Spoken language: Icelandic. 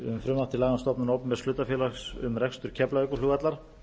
um frumvarp til laga um stofnun opinbers hlutafélags um rekstur keflavíkurflugvallar